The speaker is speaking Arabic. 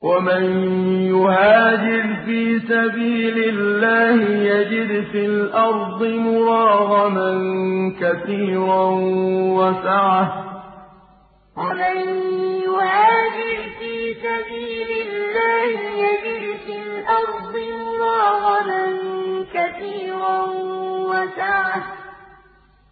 ۞ وَمَن يُهَاجِرْ فِي سَبِيلِ اللَّهِ يَجِدْ فِي الْأَرْضِ مُرَاغَمًا كَثِيرًا وَسَعَةً ۚ